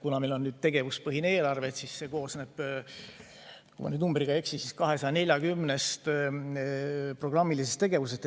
Kuna meil on tegevuspõhine eelarve, siis see koosneb, kui ma nüüd numbriga ei eksi, 240-st programmilisest tegevusest.